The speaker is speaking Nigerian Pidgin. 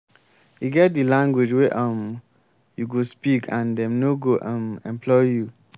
e get di language wey um you go speak and dem no go um employ you.